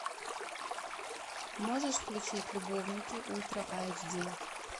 можешь включить любовники ультра айч ди